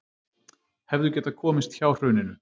Hefðu getað komist hjá hruninu